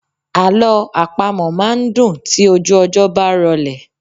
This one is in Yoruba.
Alọ àpamọ máa n dùn tí ojú ọjọ́ bá rọlẹ̀.